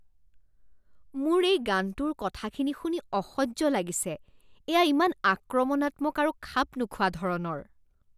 মোৰ এই গানটোৰ কথাখিনি শুনি অসহ্য লাগিছে। এয়া ইমান আক্ৰমণাত্মক আৰু খাপ নোখোৱা ধৰণৰ।